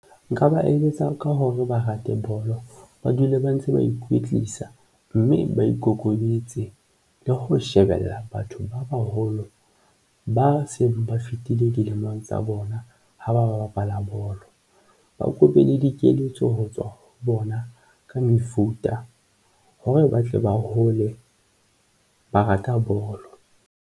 Nka ba eletsa ka hore ba rate bolo, ba dule ba ntse ba ikwetlisa mme ba ikokobeditse le ho shebella batho ba baholo ba seng ba fetile dilemo mong tsa bona ng ha ba ba bapala bolo, ba kope le dikeletso ho tswa bona ka mefuta hore ba tle ba hole ba rata bolo.